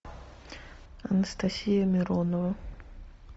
анастасия миронова